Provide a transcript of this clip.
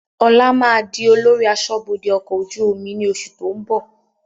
Ọlá máa di olórí aṣọ́bodè ọkọ̀ ojú omi ni oṣù tó ń bọ̀